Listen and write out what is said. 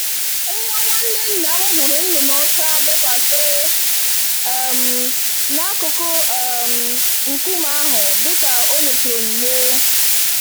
Nwa nwanne nnam hụrụ nnụnụ ọcha bekwasịrị um n'akụkụ um nkume ahụ, dika o nyechara onyinye.